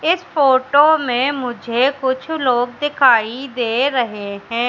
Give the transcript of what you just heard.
इस फोटो में मुझे कुछ लोग दिखाई दे रहे हैं।